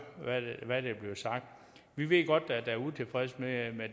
hvad der bliver sagt vi ved godt at der er utilfredshed med